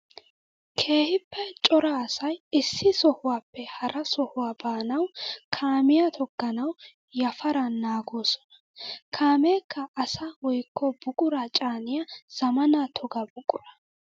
Keehippe cora asay issi sohuwappe hara sohuwa baanawu kaamiya tooganawu yafaran naagosonna. Kaamekka asaa woykko buqura caaniya zamaana toga buqura.